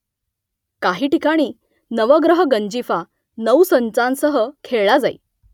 काही ठिकाणी नवग्रह गंजिफा नऊ संचांसह खेळला जाई